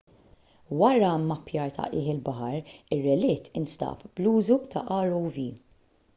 wara mmappjar ta' qiegħ il-baħar ir-relitt instab bl-użu ta' rov